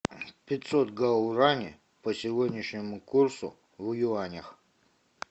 пятьсот гаурани по сегодняшнему курсу в юанях